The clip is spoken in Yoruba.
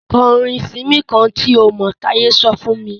Kọ orin Simí kán tí o mọ̀! Táye sọ fún mí.